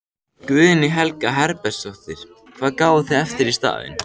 Guðný Helga Herbertsdóttir: Hvað gáfuð þið eftir í staðinn?